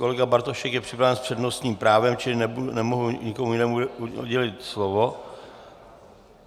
Kolega Bartošek je připraven s přednostním právem, čili nemohu nikomu jinému udělit slovo.